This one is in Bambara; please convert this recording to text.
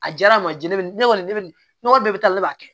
A diyara a ma di ne bɛ ne kɔni ne bɛ n ka bɛɛ bɛ taa ne b'a kɛ